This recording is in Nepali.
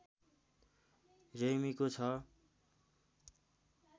रेग्मीको छ